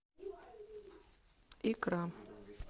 икра